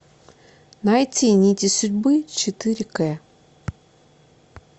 найти нити судьбы четыре к